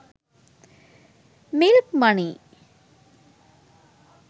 milk money